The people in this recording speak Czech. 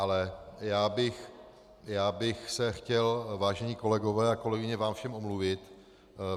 Ale já bych se chtěl, vážení kolegové a kolegyně, vám všem omluvit.